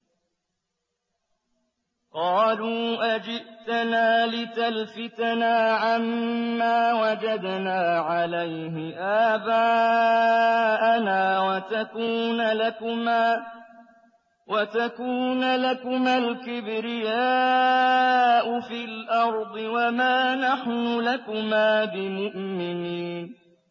قَالُوا أَجِئْتَنَا لِتَلْفِتَنَا عَمَّا وَجَدْنَا عَلَيْهِ آبَاءَنَا وَتَكُونَ لَكُمَا الْكِبْرِيَاءُ فِي الْأَرْضِ وَمَا نَحْنُ لَكُمَا بِمُؤْمِنِينَ